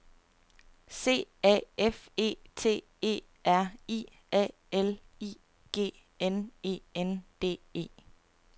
C A F E T E R I A L I G N E N D E